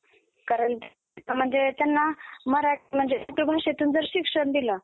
कारण म्हणजे त्यांना मराठी म्हणजे मातृभाषेतून जर शिक्षण दिलं